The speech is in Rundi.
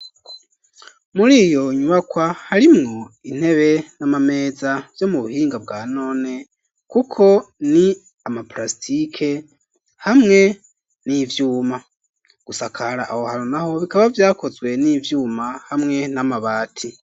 Muri iyo nyubakwa harimwo intebe n'amameza yo mu buhinga bwa none kuko ni ama prasitike hamwe n'ivyuma gusakara aho hano naho bikaba vyakozwe n'ivyuma hamwe n'amabati.